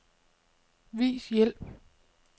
Vis hjælp.